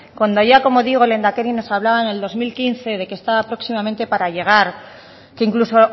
cuando ya como digo el lehendakari nos hablaba en el dos mil quince de que estaba próximamente para llegar que incluso